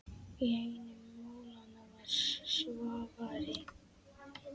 Í einu málanna var Svavari